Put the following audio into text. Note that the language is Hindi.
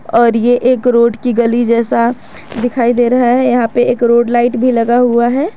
और यह एक रोड की गली जैसा दिखाई दे रहा है यहां पे एक रोड लाइट भी लगा हुआ है।